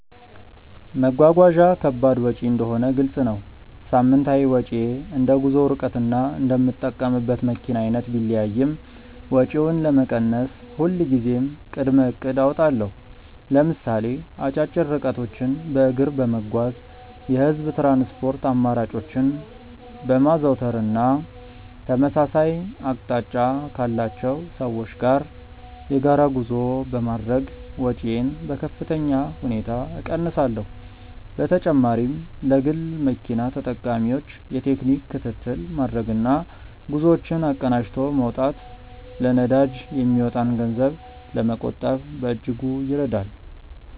መጓጓዣ ከባድ ወጪ እንደሆነ ግልጽ ነው። ሳምንታዊ ወጪዬ እንደ ጉዞው ርቀትና እንደምጠቀምበት መኪና አይነት ቢለያይም፣ ወጪውን ለመቀነስ ሁልጊዜም ቅድመ እቅድ አወጣለሁ። ለምሳሌ አጫጭር ርቀቶችን በእግር በመጓዝ፣ የህዝብ ትራንስፖርት አማራጮችን በማዘውተር እና ተመሳሳይ አቅጣጫ ካላቸው ሰዎች ጋር የጋራ ጉዞ በማድረግ ወጪዬን በከፍተኛ ሁኔታ እቀንሳለሁ። በተጨማሪም ለግል መኪና ተጠቃሚዎች የቴክኒክ ክትትል ማድረግና ጉዞዎችን አቀናጅቶ መውጣት ለነዳጅ የሚወጣን ገንዘብ ለመቆጠብ በእጅጉ ይረዳል።